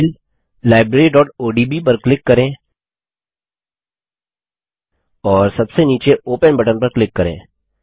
file libraryओडीबी पर click करें और सबसे नीचे ओपन बटन पर क्लिक करें